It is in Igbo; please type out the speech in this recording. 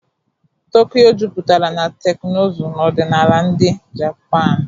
Tokyo juputara na teknụzụ na ọdịnala ndị Japanu.